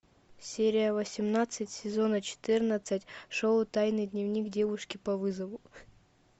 серия восемнадцать сезона четырнадцать шоу тайный дневник девушки по вызову